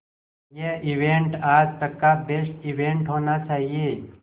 ये इवेंट आज तक का बेस्ट इवेंट होना चाहिए